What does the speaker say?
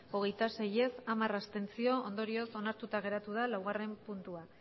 hogeita sei ez hamar abstentzio ondorioz onartuta geratu da laugarren puntua